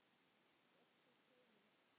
Varst þú feimin?